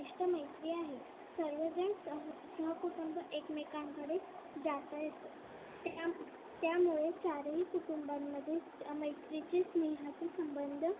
विशिष्ट्य मैत्री आहे सर्वजण सहकुटुंब एकमेकांकडे जास्त येते. त्यामुळे चार ही कुटुंबांमध्ये मैत्रीची स्नेहाची संबंध